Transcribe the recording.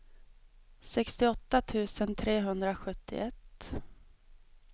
sextioåtta tusen trehundrasjuttioett